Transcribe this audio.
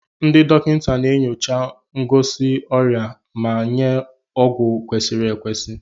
Ndị dọkịta na-enyocha ngosi ọrịa ma nye ọgwụ kwesịrị ekwesị.